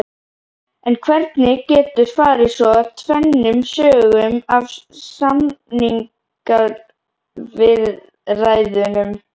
En hvernig getur farið svo tvennum sögum af samningaviðræðunum?